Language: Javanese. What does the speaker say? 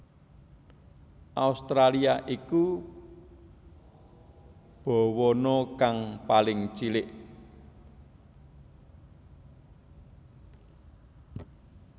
Australia iku bawana kang paling cilik